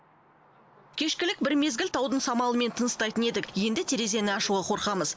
кешкілік бір мезгіл таудың самалымен тыныстайтын едік енді терезені ашуға қорқамыз